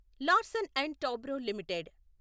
Larsen and Toubro limited